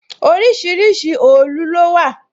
Orísìírísìí òòlù lówà